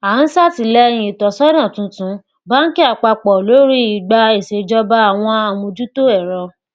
a ń ṣàtìlẹyìn ìtọsọnà tuntun bánkì àpapọ lórí ìgbà ìṣèjọba àwọn àmójútó èro